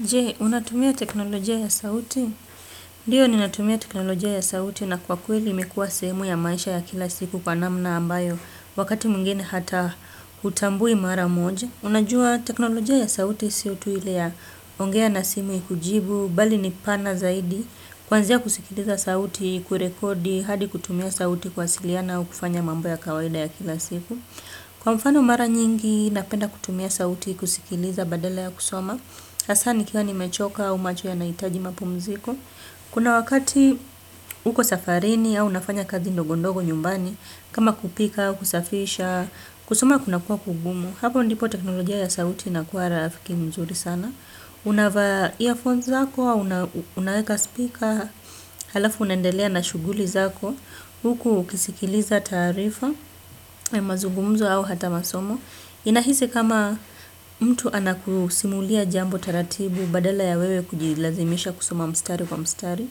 Je, unatumia teknolojia ya sauti? Ndiyo, ninatumia teknolojia ya sauti na kwa kweli imekua sehemu ya maisha ya kila siku kwa namna ambayo, wakati mwingine hata utambui mara moja. Unajua, teknolojia ya sauti isio tuile ya ongea na simu ikujibu, bali ni pana zaidi, kwanzia kusikiliza sauti, kurekodi, hadi kutumia sauti kuwasiliana, au kufanya mambo ya kawaida ya kila siku. Kwa mfano mara nyingi, napenda kutumia sauti kusikiliza badala ya kusoma. Asa nikiwa nimechoka au macho yanaitaji mapumziko. Kuna wakati uko safarini au unafanya kazi ndogondogo nyumbani. Kama kupika, kusafisha, kusoma kuna kuwa kugumu. Hapo ndipo teknolojia ya sauti inakua rafiki mzuri sana. Unavaa earphones zako, unaweka speaker. Halafu unaendelea na shuguli zako. Huku ukisikiliza taarifa, mazugumzo au hata masomo inahisi kama mtu anakusimulia jambo taratibu badala ya wewe kujilazimisha kusoma mstari kwa mstari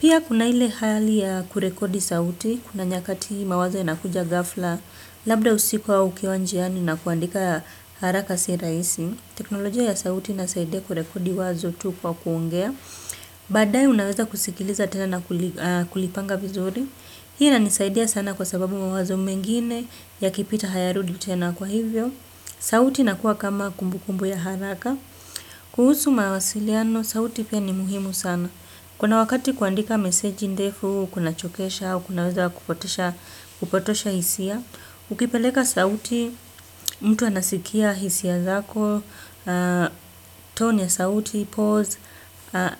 pia kuna ile hali ya kurekodi sauti kuna nyakati mawazo inakuja ghafla labda usiku au ukiwa njiani na kuandika haraka si rahisi teknolojia ya sauti inasaidia kurekodi wazo tu kwa kuongea baadae unaweza kusikiliza tena na kulipanga vizuri. Hii inanisaidia sana kwa sababu mawazo mengine yakipita hayarudi tena kwa hivyo. Sauti inakuwa kama kumbu kumbu ya haraka. Kuhusu mawasiliano, sauti pia ni muhimu sana. Kuna wakati kuandika meseji ndefu, kuna chokesha, au kunaweza kupotosha hisia. Ukipeleka sauti, mtu anasikia hisia zako, tone ya sauti, pause,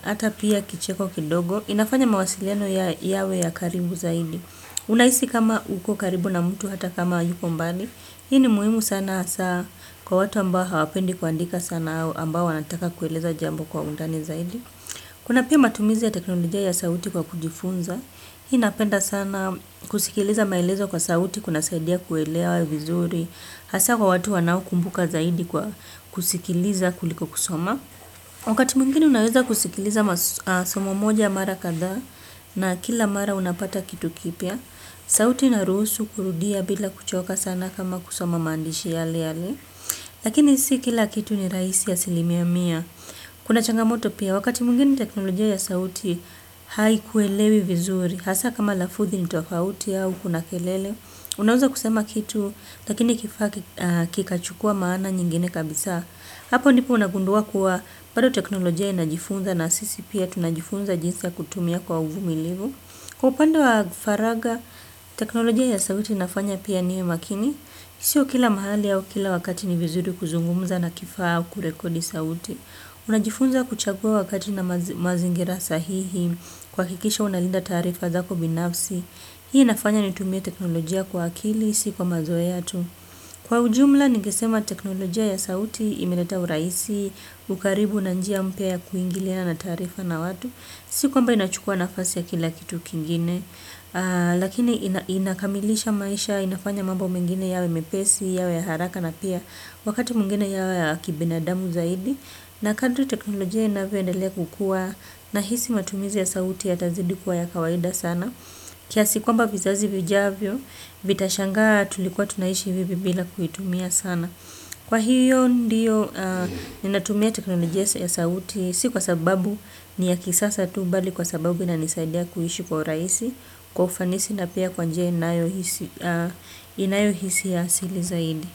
hata pia kicheko kidogo. Inafanya mawasiliano yawe ya karibu zaidi. Unaisi kama uko karibu na mtu hata kama yuko mbali. Hii ni muhimu sana hasa kwa watu ambao hawapendi kuandika sana ambao wanataka kueleza jambo kwa undani zaidi. Kuna pia matumizi ya teknolojia ya sauti kwa kujifunza. Hii napenda sana kusikiliza maelezo kwa sauti kuna saidia kuelewa vizuri. Hasa kwa watu wanao kumbuka zaidi kwa kusikiliza kuliko kusoma. Wakati mwingine unaweza kusikiliza somo moja mara kadhaa na kila mara unapata kitu kipya. Sauti inaruhusu kurudia bila kuchoka sana kama kusoma maandishi yale yale. Lakini si kila kitu ni rahisi asilimia mia. Kuna changamoto pia wakati mwingine teknolojia ya sauti haikuelewi vizuri. Hasa kama lafudhi ni tofauti au kuna kelele. Unaweza kusema kitu lakini kifaa kikachukua maana nyingine kabisa. Hapo nipu unagundua kuwa bado teknolojia inajifunza na sisi pia tunajifunza jinsi ya kutumia kwa uvumilivu. Kwa upande wa faraga, teknolojia ya sauti inafanya pia niwe makini. Sio kila mahali au kila wakati ni vizuri kuzungumuza na kifaa au kurekodi sauti. Unajifunza kuchagua wakati na mazingira sahihi, kuwakikisha unalinda taarifa zako binafsi. Hii inafanya nitumie teknolojia kwa akili, siko mazoe hatu. Kwa ujumla, ningesema teknolojia ya sauti imeleta uraisi, ukaribu na njia mpia ya kuingiliana na taarifa na watu. Si kwamba inachukua nafasi ya kila kitu kingine, lakini inakamilisha maisha, inafanya mambo mengine yawe mepesi, yawe haraka na pia wakati mwingine yawe yakibenadamu zaidi. Na kadri teknolojia inavyoendalia kukua nahisi matumizi ya sauti yatazidi kuwa ya kawaida sana. Kiasi kwamba vizazi vijavyo, vitashangaa tulikuwa tunaishi hivyo bila kuitumia sana. Kwa hiyo ndiyo ninatumia teknolojia ya sauti si kwa sababu ni ya kisasa tu bali kwa sababu inanisaidia kuishi kwa urahisi, kwa ufanisi na pia kwa njia inayo hisi asili zaidi.